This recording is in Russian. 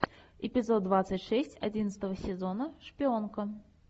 эпизод двадцать шесть одиннадцатого сезона шпионка